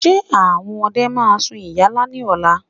Ṣé àwọn ọdẹ máa sun ìyálá ní ọ̀la?